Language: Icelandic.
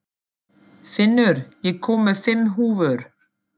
Finnur, ég kom með fimm húfur!